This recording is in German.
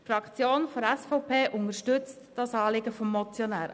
Die Fraktion der SVP unterstützt dieses Anliegen.